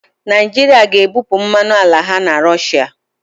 Naịjirịa ga-ebupụ mmanụ ala ha na Rọshịa